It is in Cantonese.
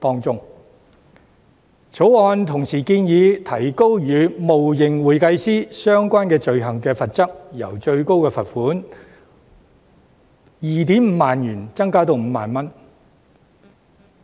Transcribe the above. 《條例草案》同時建議提高與冒認會計師相關的罪行的罰則，由最高罰款 25,000 元提高至 50,000 元。